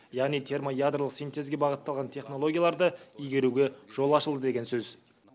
яғни термоядролық синтезге бағытталған технологияларды игеруге жол ашылды деген сөз